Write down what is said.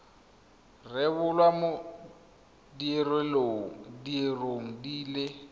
rebolwa mo diureng di le